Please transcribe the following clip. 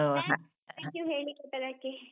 Thank thank you ಹೇಳಿ ಕೊಟ್ಟದ್ದಕ್ಕೆ.